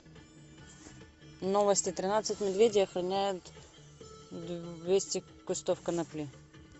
новости тринадцать медведей охраняют двести кустов конопли